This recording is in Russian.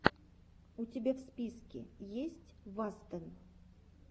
у тебя в списке есть вастен